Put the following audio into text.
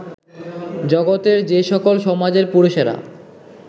জগতের যে সকল সমাজের পুরুষেরা